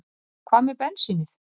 Hvað með bensínið?